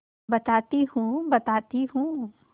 बताती हूँ बताती हूँ